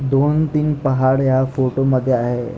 दोन तीन पहाड या फोटो मध्ये आहे.